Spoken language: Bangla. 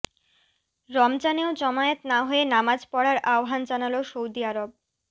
রমজানেও জমায়েত না হয়ে নামাজ পড়ার আহ্বান জানাল সৌদি আরর